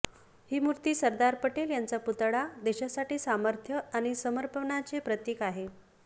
ही मूर्ती सरदार पटेल यांचा पूतळा देशासाठी सामर्थ्य आणि समर्पनाचे प्रतिक आहे